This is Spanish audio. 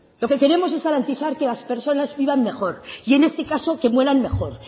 lo que queremos es garantizar que las personas vivan mejor y en este caso que mueran mejor